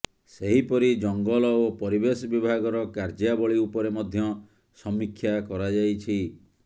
ସେହିପରି ଜଙ୍ଗଲ ଓ ପରିବେଶ ବିଭାଗର କାର୍ଯ୍ୟାବଳୀ ଉପରେ ମଧ୍ୟ ସମୀକ୍ଷା କରାଯାଇଛି